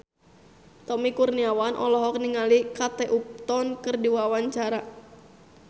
Tommy Kurniawan olohok ningali Kate Upton keur diwawancara